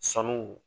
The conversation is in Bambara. Sanuw